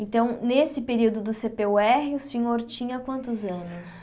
Então, nesse período do cê pê ú érre, o senhor tinha quantos anos?